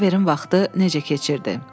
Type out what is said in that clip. Oliverin vaxtı necə keçirdi?